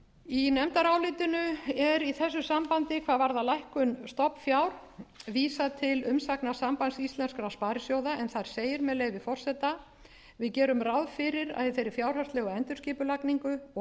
í nefndarálitinu er í þessu sambandi hvað varðar lækkun stofnfjár vísað til umsagnar sambands íslenskum sparisjóða en þar segir með leyfi forseta við gerum ráð fyrir að í þeirri fjárhagslegu endurskipulagningu og